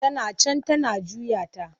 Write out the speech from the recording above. Tana can tana juya ta.